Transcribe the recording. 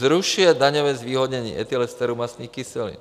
zrušuje daňové zvýhodnění etylesterů mastných kyselin;